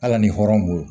Hali ni hɔrɔn bolo